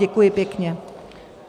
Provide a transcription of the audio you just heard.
Děkuji pěkně.